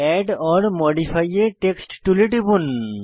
add or modify a text টুলে টিপুন